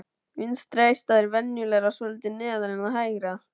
Vinstra eistað er venjulega svolítið neðar en það hægra.